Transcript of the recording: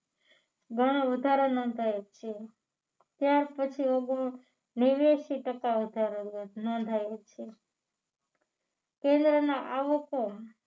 ગણો વધારો નોંધાયો છે ત્યાર પછી નેવ્યાશી ટકા વધારો નોંધાયો છે આવકો